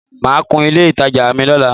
Màá kun ilé ìtajà mi lọ́la